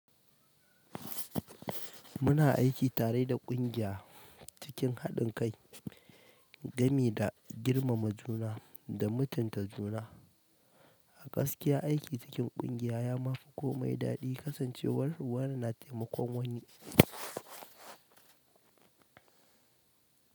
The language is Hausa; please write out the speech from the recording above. Muna aiki tare da ƙungiya cikin haɗin kai, gami da girmama juna da mutunta juna. A gaskiya, aiki cikin ƙungiya ya ma fi komai daɗi kasancewar wane na taimakon wani.